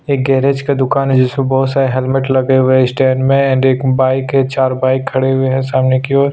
एक गैरेज का दुकान है जिसमे बहुत सारे हैलमेट लगे हुए है स्टैंड में एंड बाइक है चार बाइक खड़े हुए है सामने की ओर --